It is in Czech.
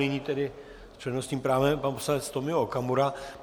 Nyní tedy s přednostním právem pan poslanec Tomio Okamura.